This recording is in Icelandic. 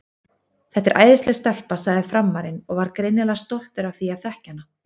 Þetta er æðisleg stelpa, sagði Frammarinn og var greinilega stoltur af því að þekkja hana.